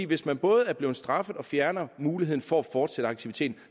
hvis man både er blevet straffet og får fjernet muligheden for at fortsætte aktiviteten